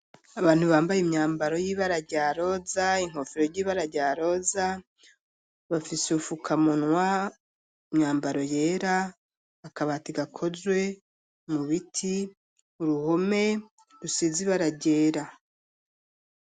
Abantu bambaye imyambaro y'ibara rya roza, inkofero ry'ibara rya roza, bafise ufukamunwa ,imyambaro yera, akabati gakozwe mu biti ,uruhome rusizi baragera.